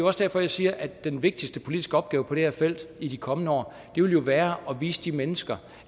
også derfor jeg siger at den vigtigste politiske opgave på det her felt i de kommende år jo vil være at vise de mennesker